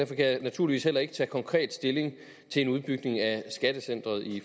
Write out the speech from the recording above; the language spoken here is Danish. kan jeg naturligvis heller ikke tage konkret stilling til en udbygning af skattecenteret i